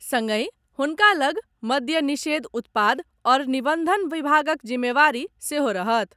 संगहि हुनका लग मद्य निषेध उत्पाद आओर निबंधन विभागक जिम्मेवारी सेहो रहत।